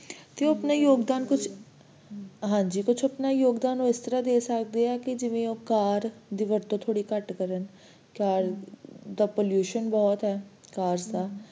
ਤੇ ਆਪਣਾ ਯੋਗਦਾਨ ਉਹ, ਹਾਂਜੀ ਕੁਛ ਆਪਣਾ ਯੋਗਦਾਨ ਉਹ ਇਸ ਤਰ੍ਹਾਂ ਦੇ ਸਕਦੇ ਆ ਕਿ ਜਿਵੇ ਉਹ car ਦੀ ਵਰਤੋਂ ਥੋੜੀ ਘਟ ਕਰਨ cars pollution ਬਹੁਤ ਹੈ cars ਦਾ